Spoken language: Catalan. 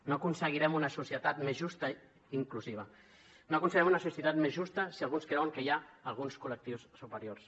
no aconseguirem una societat més justa i inclusiva no aconseguirem una societat més justa si alguns creuen que hi ha alguns col·lectius superiors